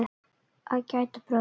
Að gæta bróður síns